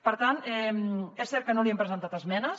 per tant és cert que no hi hem presentat esmenes